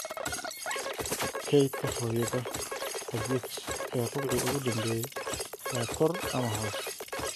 kaydka hooyada oliech ee rubuci ugu dambeeyay waa kor ama hoos